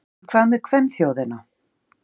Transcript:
En hvað með kvenþjóðina?